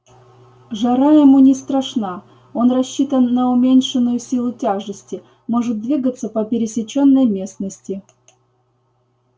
жара ему не страшна он рассчитан на уменьшенную силу тяжести может двигаться по пересечённой местности